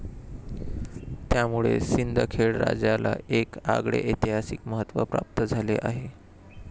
त्यामुळे सिंदखेड राजाला एक आगळे ऐतिहासिक महत्व प्राप्त झाले आहे.